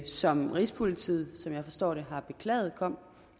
som rigspolitiet som jeg forstår det har beklaget kom